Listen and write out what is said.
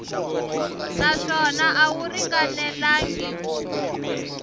naswona a wu ringanelangi ku